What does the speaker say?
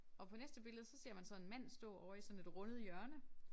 Og på næste billede så ser man så en mand stå ovre i sådan et rundet hjørnet